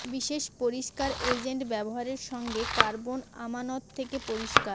বিশেষ পরিস্কার এজেন্ট ব্যবহার সঙ্গে কার্বন আমানত থেকে পরিষ্কার